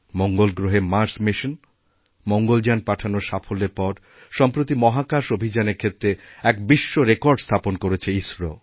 মঙ্গল গ্রহে Mars mission Mangalyaan পাঠানোর সাফল্যের পরসম্প্রতি মহাকাশ অভিযানের ক্ষেত্রে এক বিশ্বরেকর্ড স্থাপন করেছে ইসরো